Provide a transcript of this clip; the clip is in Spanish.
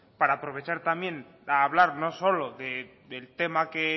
para aprovechar también a hablar no solo del tema que